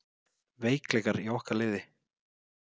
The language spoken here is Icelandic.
Veikleikar í okkar liði?